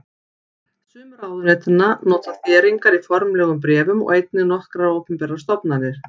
Sum ráðuneytanna nota þéringar í formlegum bréfum og einnig nokkrar opinberar stofnanir.